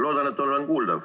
Loodan, et olen kuuldav.